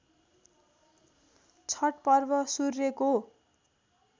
छठ पर्व सूर्यको